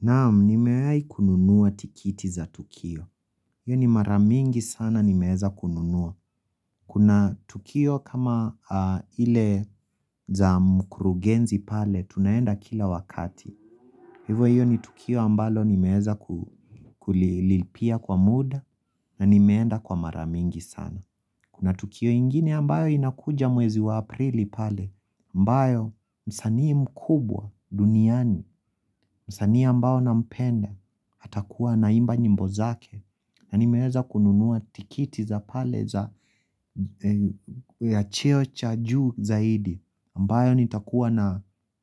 Naam, nimewai kununua tikiti za Tukio. Iyo ni mara mingi sana nimeeza kununua. Kuna Tukio kama ile za mkurugenzi pale, tunaenda kila wakati. Hivo iyo ni Tukio ambalo nimeeza kulilipia kwa muda na nimeenda kwa mara mingi sana. Kuna Tukio ingine ambayo inakuja mwezi wa aprili pale. Ambayo msanii mkubwa duniani, msanii ambao na mpenda atakuwa anaimba nyimbo zake na nimeweza kununua tikiti za pale ya cheo cha juu zaidi ambayo nitakuwa na